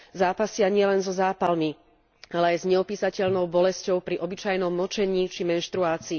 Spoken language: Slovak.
Zápasia nielen zo zápalmi, ale aj s neopísateľnou bolesťou pri obyčajnom močení, či menštruácii.